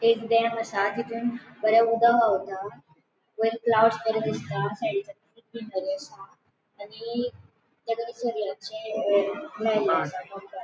एक डॅम असा तितुन बरे उदक व्हावता वॉइर फ्लावर्स बरे दिसता ग्रीनरी असा आणि --